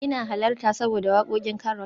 ina halarta saboda wakokin Carol